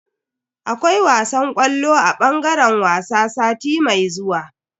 Akwai wasan ƙwallo a bangaren wasa sati mai zuwa.